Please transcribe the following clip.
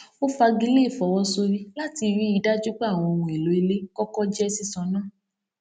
ó fagilé ìfowósórí láti rí i dájú pé àwọn owó ohun èlò ilé kọkọ jẹ sísan ná